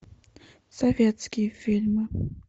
советские фильмы